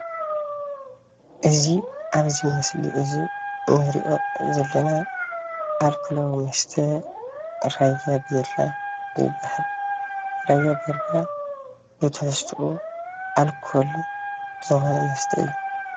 እዚ ኣብዚ ምስሊ እዚ እንሪኦ ዘለና ኣልኮላዊ መስተ ራያ ቢራ ይባሃል፡፡ ራያ ቢራ ብትሕዝትኡ ኣልኮል ዝኾነ መስተ እዩ፡፡